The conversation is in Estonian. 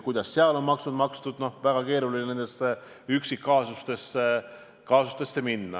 Kuidas tal on maksud makstud – no väga keeruline on nendesse üksikkaasustesse laskuda.